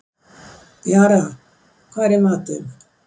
Jara, hvað er í matinn?